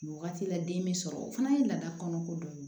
Nin wagati la den be sɔrɔ o fana ye laada kɔnɔ ko dɔ ye